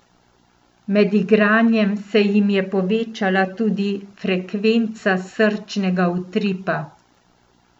Med igranjem se jim je povečala tudi frekvenca srčnega utripa.